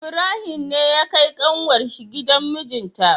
Ibrahim ne ya kai kanwar shi gidan mijinta